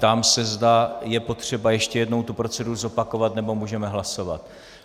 Ptám se, zda je potřeba ještě jednou tu proceduru zopakovat, nebo můžeme hlasovat.